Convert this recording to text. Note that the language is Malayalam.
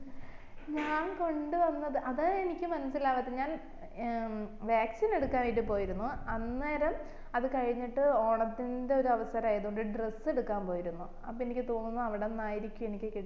ഞാൻ കൊണ്ട് വന്നത് അതാ എനിക്കും മനസ്സിലാവാതെ ഞാൻ ഏർ vaccine എടുക്കാൻ ആയിട്ട് പോയിരുന്നു അന്നേരം അത് കഴിഞ്ഞിട്ട് ഓണത്തിന്റെ ഒരവസരം ആയോണ്ട് dress എടുക്കാൻ പോയിരുന്നു അപ്പൊ എനിക്ക് തോന്നുന്നു അവിടുന്നായിരിക്കും എനിക്ക് കിട്